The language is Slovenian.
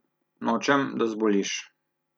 Nočem, da zboliš.